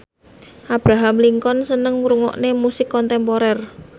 Abraham Lincoln seneng ngrungokne musik kontemporer